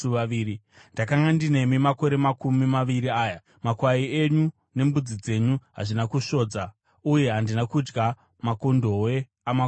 “Ndakanga ndinemi makore makumi maviri aya. Makwai enyu nembudzi dzenyu hazvina kusvodza, uye handina kudya makondobwe amakwai enyu.